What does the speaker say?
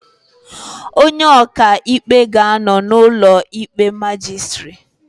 Onye ọka ikpe ga-anọ n'ụlọ ikpe majistiri